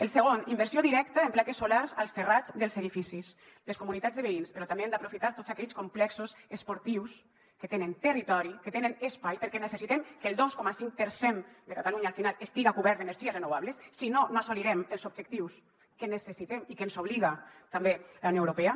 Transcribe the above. el segon inversió directa en plaques solars als terrats dels edificis les comunitats de veïns però també hem d’aprofitar tots aquells complexos esportius que tenen territori que tenen espai perquè necessitem que el dos coma cinc per cent de catalunya al final estiga cobert d’energies renovables si no no assolirem els objectius que necessitem i a què ens obliga també la unió europea